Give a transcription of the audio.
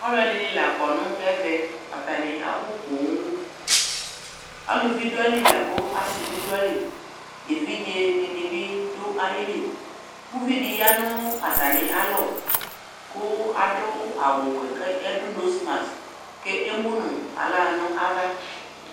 Alʋɛdɩnɩ la kɔ nʋ ɛvɛ, atanɩ abʋ pooom Aluvi dʋ ayili lakʋ asɩ bɩ dʋ ayili, evidze dɩnɩ bɩ dʋ ayili Uvi dɩ ya nʋ atamialɔ kʋ adʋ awʋ wɛ k'adʋ nose mask k'emu nʋ aɣla n'ava